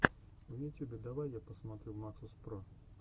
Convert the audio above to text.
в ютюбе давай я посмотрю максус про